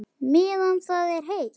Meðan það er heitt.